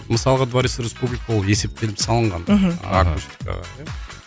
мысалға дворец республики ол есептеліп салынған мхм